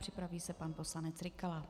Připraví se pan poslanec Rykala.